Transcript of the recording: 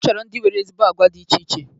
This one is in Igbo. Ọ chọrọ ndị nwere ezigbo agwa dị iche iche.